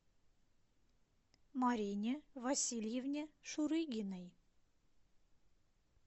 марине васильевне шурыгиной